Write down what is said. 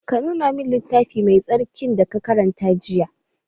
Ka nuna min littafin mai tsarkin da ka karanta jiya!